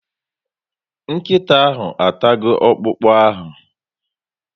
Nkịta ahụ atago okpụkpụ ahụ